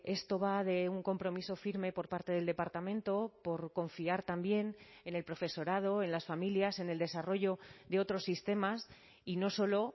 esto va de un compromiso firme por parte del departamento por confiar también en el profesorado en las familias en el desarrollo de otros sistemas y no solo